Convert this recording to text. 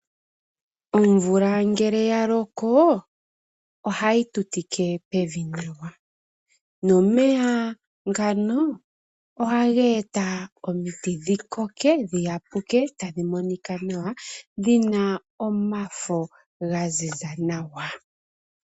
Omvula ngele ya loko ohayi tu tike pevi nawa, nomeya ngano ohaga eta omiti dhi koke, dhi yapuke tadhi monika nawa dhina omafo ga ziza nawa.